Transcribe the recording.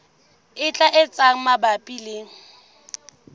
e tlang tse mabapi le